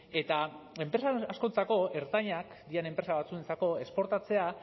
eta enpresa askorentzako ertainak diren enpresa batzuentzako esportatzea